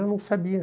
Eu não sabia.